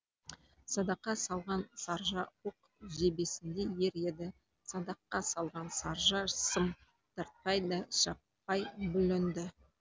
садаққа салған саржа оқ жебесіндей ер еді садаққа салған саржа сым тартпай да шаппай бүлінді